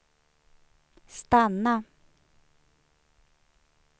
stanna